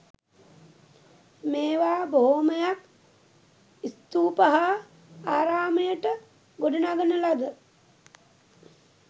මේවා බොහොමයක් ස්තූප හා ආරාමයට ගොඩනගන ලද